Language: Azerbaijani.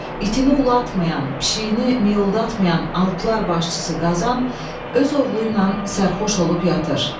İtini ulatmayan, pişiyini mioldatmayan alplar başçısı Qazan öz oğlu ilə sərxoş olub yatır.